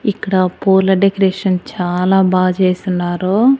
ఇక్కడ పూల డెకరేషన్ చాలా బాగా చేసున్నారు.